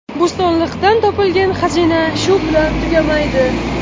Bo‘stonliqdan topilgan xazina shu bilan tugamaydi.